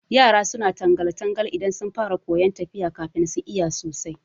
Yara suna tangal- tangal idan sun fara koyan tafiya kafin su iya sosai